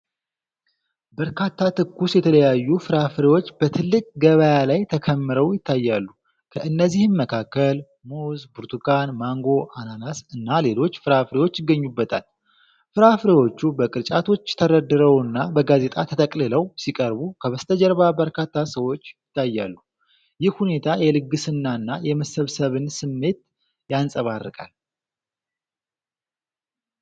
በርካታ ትኩስ፣ የተለያዩ ፍራፍሬዎች በትልቅ ገበያ ላይ ተከምረው ይታያሉ፤ ከእነዚህም መካከል ሙዝ፣ ብርቱካን፣ ማንጎ፣ አናናስ እና ሌሎች ፍራፍሬዎች ይገኙበታል። ፍራፍሬዎቹ በቅርጫቶች ተደርድረውና በጋዜጣ ተጠቅልለው ሲቀርቡ፣ ከበስተጀርባ በርካታ ሰዎች ይታያሉ። ይህ ሁኔታ የልግስናና የመሰባሰብን ስሜት ያንጸባርቃል።